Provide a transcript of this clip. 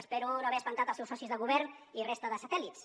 espero no haver espantat els seus socis de govern i resta de satèl·lits